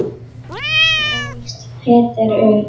Þar ólst Peder upp.